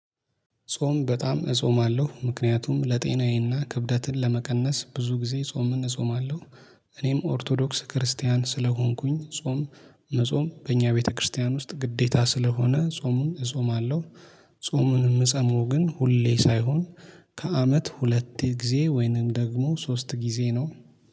ጾም በጣም እጾማለሁ ምክንያቱም ለጤናዬና ክብደትን ለመቀነስ ብዙ ጊዜ ጾምን እጾማለሁ። እኔም ኦርቶዶክስ ክርስቲያን ስለሆንኩኝ ጾም። መጾም በእኛ ቤተክርስቲያን ውስጥ ግዴታ ስለሆነ ጾሙን እጾማለሁ። ጾሙን የምጸሙ ግን ሁሌ ሳይሆን። ከአመት ሁለቴ ጊዜ ወይንም ደግሞ ሶስት ጊዜ ነው